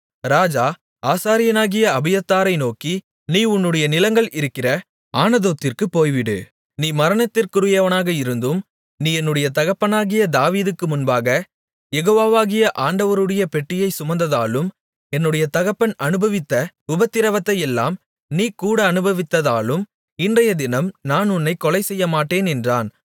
ராஜா ஆசாரியனாகிய அபியத்தாரை நோக்கி நீ உன்னுடைய நிலங்கள் இருக்கிற ஆனதோத்திற்குப் போய்விடு நீ மரணத்திற்குரியவனாக இருந்தும் நீ என்னுடைய தகப்பனாகிய தாவீதுக்கு முன்பாகக் யெகோவாவாகிய ஆண்டவருடைய பெட்டியைச் சுமந்ததாலும் என்னுடைய தகப்பன் அநுபவித்த உபத்திரவத்தையெல்லாம் நீ கூட அநுபவித்ததாலும் இன்றைய தினம் நான் உன்னைக் கொலை செய்யமாட்டேன் என்றான்